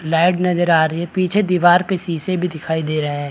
Leg नजर आ रही है पीछे दीवार पे शीशे भी दिखाई दे रहे हैं।